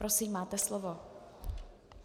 Prosím, máte slovo.